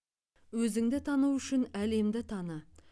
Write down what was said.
өзіңді тану үшін әлемді таны